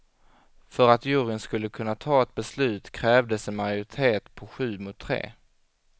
För att juryn skulle kunna ta ett beslut krävdes en majoritet på sju mot tre.